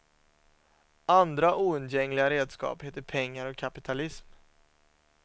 Andra oundgängliga redskap heter pengar och kapitalism.